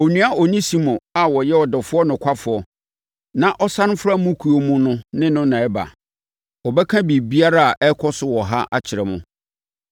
Onua Onesimo a ɔyɛ ɔdɔfoɔ nokwafoɔ na ɔsane fra mo kuo mu no ne no na ɛreba. Wɔbɛka biribiara a ɛrekɔ so wɔ ha akyerɛ mo.